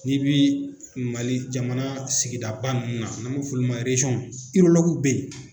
Ni bɛ Mali jamana sigidaba nunnu n'a b' a f'olu ma